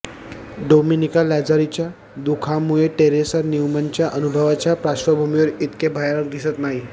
Dominica लॅझारीच्या दुःखामुळे Teresa न्यूमनच्या अनुभवाच्या पार्श्वभूमीवर इतके भयानक दिसत नाही